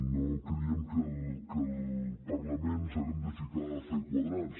no creiem que el parlament ens haguem de ficar a fer quadrants